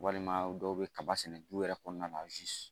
Walima dɔw bɛ kaba sɛnɛ du yɛrɛ kɔnɔna na